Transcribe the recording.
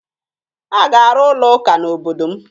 A ga-arụ ụlọụka n'obodo m